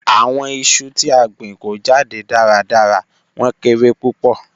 Awọn iṣu ti a gbin ko jade daradara, wọn kere pupọ.